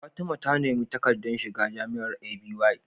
Fatima ta nemi takaddar shiga jamiar A.B Y